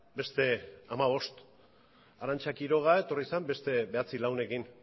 beste hamabost arantza quiroga etorri zen beste bederatzi lagunekin